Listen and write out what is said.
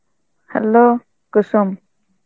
hello Kusum